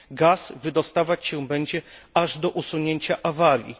Gaz wydostawać się będzie aż do usunięcia awarii.